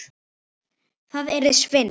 Það yrði svindl.